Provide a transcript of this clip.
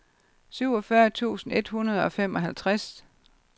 syvogfyrre tusind et hundrede og femoghalvtreds